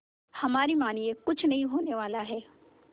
हमारी मानिए कुछ नहीं होने वाला है